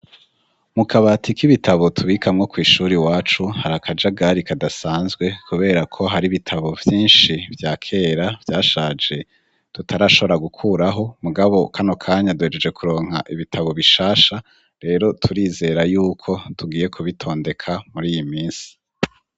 Mukabati k'ibitabo tubikamwo kw'ishure iwacu hari akajagari kadasanzwe kubera ko har'ibitabo vyinshi bya kera vyashaje tutarashobora gukuraho mugabo kano kanya duhejeje kuronka ibitabo bishasha rero turizera yuko tugiye kubitondeka mur'iyiminsi.